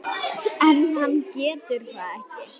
En hann getur það ekki.